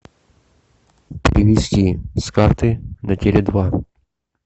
перевести с карты на теле два